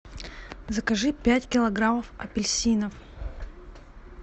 закажи пять килограммов апельсинов